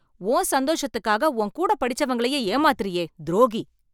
உன் சந்தோஷத்துக்காக உன் கூட படிச்சவங்களையே ஏமாத்துறையே, துரோகி.